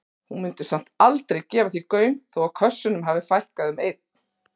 Hún mundi samt aldrei gefa því gaum þó að kössunum fækkaði um einn.